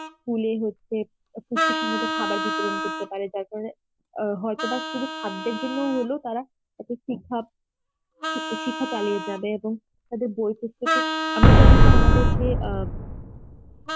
school এ হচ্ছে পুষ্টি সম্মত খাবার বিতরণ করতে পারে যার কারণে আ হয়তোবা শুধু খাদ্যের জন্য হলেও তারা শিক্ষা, শি~ শিক্ষা চালিয়ে যাবে এবং তাদের বই আমরা জানি যে আমাদেরকে অ্যাঁ